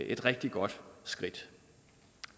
et rigtig godt skridt